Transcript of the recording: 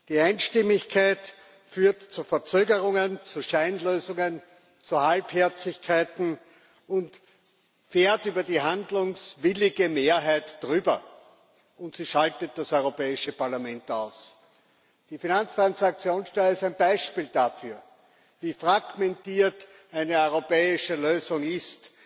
Die Einstimmigkeit führt zu Verzögerungen, zu Scheinlösungen, zu Halbherzigkeiten, sie fährt über die handlungswillige Mehrheit drüber, und sie schaltet das Europäische Parlament aus. Die Finanztransaktionssteuer ist ein Beispiel dafür, wie fragmentiert eine europäische Lösung ist,